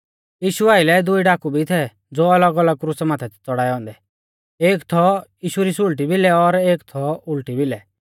यीशु आइलै दुई डाकु भी थै ज़ो अलग अलग क्रुसा माथै थै च़ड़ाऐ औन्दै एक थौ यीशु री सुल़टी भिलै और एक थौ उल़टी भिलै